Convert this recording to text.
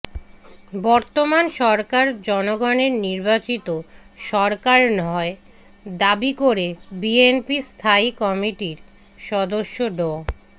বর্তমান সরকার জনগণের নির্বাচিত সরকার নয় দাবি করে বিএনপির স্থায়ী কমিটির সদস্য ড